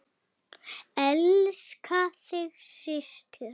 Elska þig, systir.